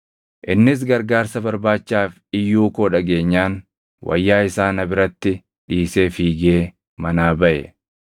Innis gargaarsa barbaachaaf iyyuu koo dhageenyaan wayyaa isaa na biratti dhiisee fiigee manaa baʼe.”